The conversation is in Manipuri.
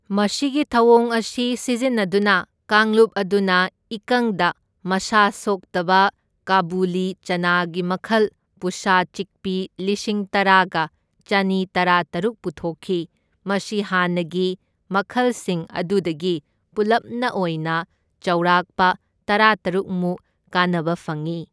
ꯃꯁꯤꯒꯤ ꯊꯧꯑꯣꯡ ꯑꯁꯤ ꯁꯤꯖꯤꯟꯅꯗꯨꯅ ꯀꯥꯡꯂꯨꯞ ꯑꯗꯨꯅ ꯏꯀꯪꯗ ꯃꯁꯥ ꯁꯣꯛꯇꯕ ꯀꯥꯕꯨꯂꯤ ꯆꯅꯥꯒꯤ ꯃꯈꯜ ꯄꯨꯁꯥ ꯆꯤꯛꯄꯤ ꯂꯤꯁꯤꯡ ꯇꯔꯥꯒ ꯆꯅꯤꯇꯔꯥꯇꯔꯨꯛ ꯄꯨꯊꯣꯛꯈꯤ, ꯃꯁꯤ ꯍꯥꯟꯅꯒꯤ ꯃꯈꯜꯁꯤꯡ ꯑꯗꯨꯗꯒꯤ ꯄꯨꯂꯞꯅ ꯑꯣꯏꯅ ꯆꯥꯎꯔꯥꯛꯄ ꯇꯔꯥꯇꯔꯨꯛ ꯃꯨꯛ ꯀꯥꯟꯅꯕ ꯐꯪꯢ꯫